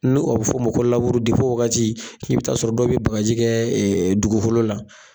Nu o bɛ fɔ ma ko laburi depi o wagati i bɛ taa sɔrɔ dɔw bɛ bagaji kɛ dugukolo la.